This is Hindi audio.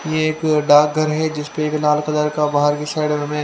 यह एक डाक घर हे जिसपे एक लाल कलर का बाहर की साइड में--